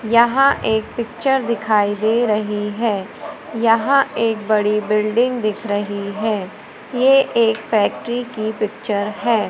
यहां एक पिक्चर दिखाई दे रही है। यहां एक बड़ी बिल्डिंग दिख रही है ये एक फैक्ट्री की पिक्चर है।